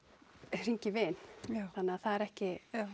hringja í vin þannig að það er ekki